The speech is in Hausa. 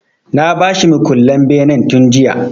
Na ba shi mukullen benen tun jiya.